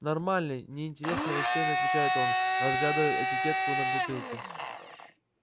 нормальный не интересно рассеяно отвечает он разглядывая этикетку на бутылке